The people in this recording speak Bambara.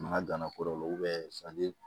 Ma gana kɔrɔ